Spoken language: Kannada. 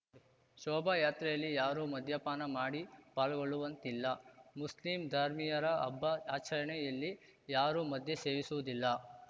ಶೋಭಾಯಾತ್ರೆಯಲ್ಲಿ ಯಾರೂ ಮದ್ಯಪಾನ ಮಾಡಿ ಪಾಲ್ಗೊಳ್ಳುವಂತಿಲ್ಲ ಮುಸ್ಲಿಂ ಧರ್ಮೀಯರ ಹಬ್ಬ ಆಚರಣೆಯಲ್ಲಿ ಯಾರೂ ಮದ್ಯ ಸೇವಿಸುವುದಿಲ್ಲ